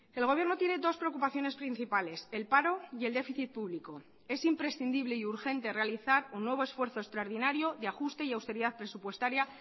el gobierno tiene dos preocupaciones principales el paro y el déficit público es imprescindible y urgente realizar un nuevo esfuerzo extraordinario de ajuste y austeridad presupuestaria